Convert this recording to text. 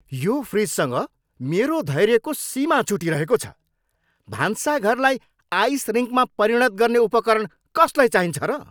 यो फ्रिजसँग मेरो धैर्यको सिमा छुटिरहेको छ। भान्साघऱलाई आइस रिङ्कमा परिणत गर्ने उपकरण कसलाई चाहिन्छ र?